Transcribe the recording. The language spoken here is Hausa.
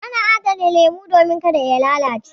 Ana adana lemu domin ka da ya lalace.